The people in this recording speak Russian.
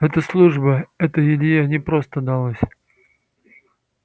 это служба это илье непросто далось